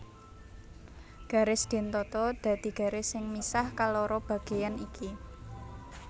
Garis dentata dadi garis sing misah kaloro bageyan iki